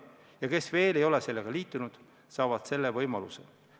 Ja kes veel ei ole sellega liitunud, saavad selle võimaluse.